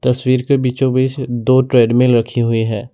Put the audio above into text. तस्वीर के बीचो बीच दो ट्रेडमिल रखी हुई है।